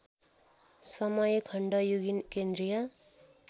समयखण्ड युगीन केन्द्रीय